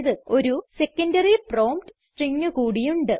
ഒരു secondary prompt string കൂടി ഉണ്ട്